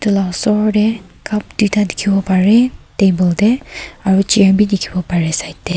etu la osor te cup duita dikhiwo pare table te aro chair bi dikhiwo pare side te.